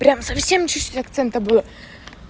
прям совсем чуть-чуть акцента было